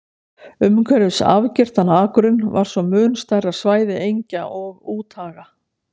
Umhverfis afgirtan akurinn var svo mun stærra svæði engja og úthaga.